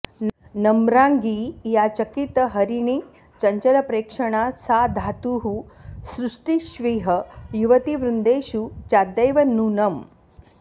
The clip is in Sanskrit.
नम्राङ्गी या चकितहरिणीचञ्चलप्रेक्षणा सा धातुः सृष्टिष्विह युवतिवृन्देषु चाद्यैव नूनम्